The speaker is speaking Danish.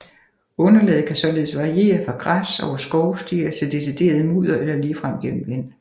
Underlaget kan således variere fra græs over skovstier til decideret mudder eller ligefrem gennem vand